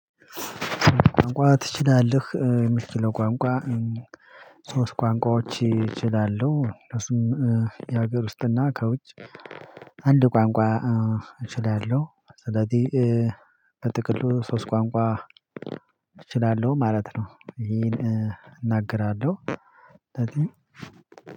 ቋንቋ ትችላለህ? የሚል የምችለው ቋንቋ ሶስት ቋንቋዎች እችላለሁ እሱም የሀገር ውስጥና ከውጭ አንድ ቋንቋ እችላለሁ በጥቅሉ ሶስት ቋንቋ እችላለሁ ማለት ነው ይሄን እናገራለሁ እዚህ